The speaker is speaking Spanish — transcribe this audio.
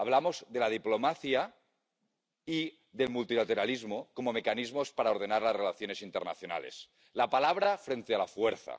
Hablamos de la diplomacia y del multilateralismo como mecanismos para ordenar las relaciones internacionales —la palabra frente a la fuerza—